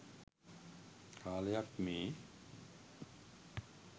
කාලයක් මේ.